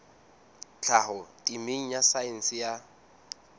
tlhaho temeng ya saense ya